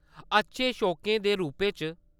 अच्छे शौकें दे रूपै च?